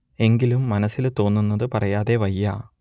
എങ്കിലും മനസ്സിൽ തോന്നുന്നത് പറയാതെ വയ്യ